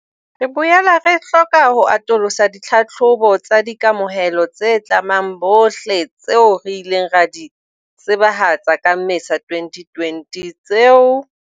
Re boela re hloka ho atolosa ditlhahlobo tsa di kamohelo tse tlamang bohle tseo re ileng ra di tsebahatsa ka Mmesa 2020 tseo